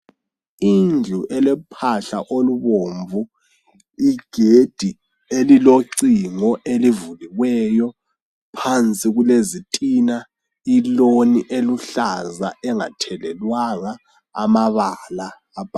Indlu elephahla olubomvu igedi elilocingo elivuliweyo phansi kulezitina iloni eliluhlaza engatelelwanga amabala.